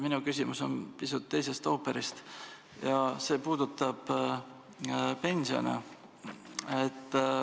Minu küsimus on teisest ooperist ja puudutab pensione.